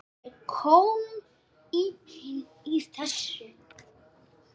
Það er kómíkin í þessu.